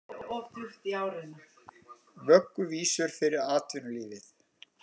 Vögguvísur yfir atvinnulífinu